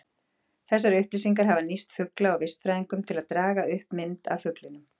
Þessar upplýsingar hafa nýst fugla- og vistfræðingum, til að draga upp mynd af fuglinum.